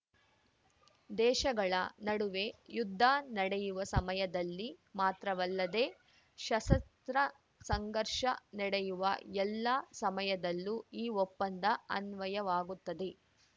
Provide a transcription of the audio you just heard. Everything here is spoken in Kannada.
ದೇಶಗಳ ನಡುವೆ ಯುದ್ಧ ನಡೆಯುವ ಸಮಯದಲ್ಲಿ ಮಾತ್ರವಲ್ಲದೆ ಸಶಸ್ತ್ರ ಸಂಘರ್ಷ ನಡೆಯುವ ಎಲ್ಲಾ ಸಮಯದಲ್ಲೂ ಈ ಒಪ್ಪಂದ ಅನ್ವಯವಾಗುತ್ತದೆ